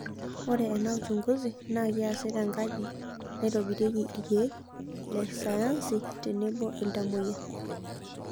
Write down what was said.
Ore ena uchunguzi naa keasi tenkaji naitobirunyeki ilkeek le sayansi tenebo iltamoyia.